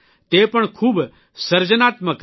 તે પણ ખૂબ સર્જનાત્મક રીતે